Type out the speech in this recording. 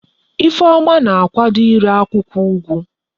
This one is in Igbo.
Ifeoma na akwado ire akwukwo ugu